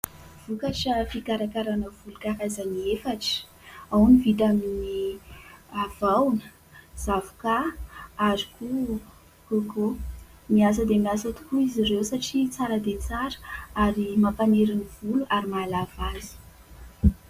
Vokatra fikarakarana volo karazany efatra. Ao ny vita amin'ny vahona, zavokà ary koa kôkô. Miasa dia miasa tokoa izy ireo satria tsara dia tsara, ary mampaniry ny volo ary mahalava azy.